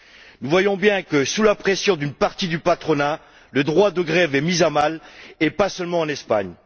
Nous voyons bien que sous la pression d'une partie du patronat, le droit de grève est mis à mal, et pas seulement en Espagne.